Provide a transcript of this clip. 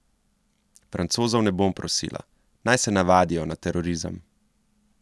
Francozov ne bom prosila, naj se navadijo na terorizem.